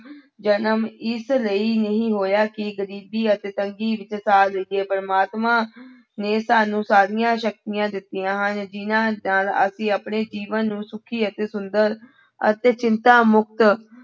ਜਨਮ ਇਸ ਲਈ ਨਹੀਂ ਹੋਇਆ ਕਿ ਗ਼ਰੀਬੀ ਅਤੇ ਤੰਗੀ ਵਿੱਚ ਸਾਰ ਲਈਏ ਪ੍ਰਮਾਤਮਾ ਨੇ ਸਾਨੂੰ ਸਾਰੀਆਂ ਸ਼ਕਤੀਆਂ ਦਿੱਤੀਆਂ ਹਨ ਜਿਹਨਾਂ ਨਾਲ ਅਸੀਂ ਆਪਣੇ ਜੀਵਨ ਨੂੰ ਸੁੱਖੀ ਅਤੇ ਸੁੰਦਰ ਅਤੇ ਚਿੰਤਾ ਮੁੱਕਤ